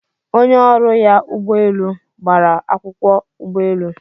Onye ọrụ ya ụgbọ elu gbara akwụkwọ ụgbọelu